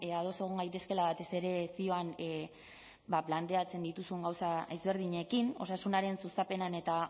ados egon gaitezkela batez ere zioan planteatzen dituzun gauza ezberdinekin osasunaren sustapenean eta